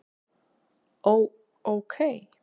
Ó. ókei